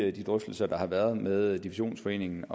i de drøftelser der har været med divisionsforeningen